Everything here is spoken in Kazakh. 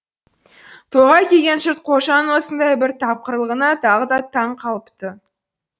тойға келген жұрт қожаның осындай бір тапқырлығына тағы да таң қалыпты